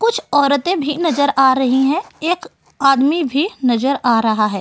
कुछ औरतें भी नजर आ रही है। एक आदमी भी नजर आ रहा है।